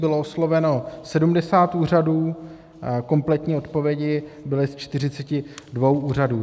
Bylo osloveno 70 úřadů, kompletní odpovědi byly ze 42 úřadů.